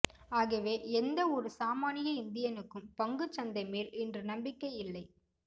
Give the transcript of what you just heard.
ஆகவே எந்த ஒரு சாமானிய இந்தியனுக்கும் பங்குச்சந்தைமேல் இன்று நம்பிக்கை இல்லை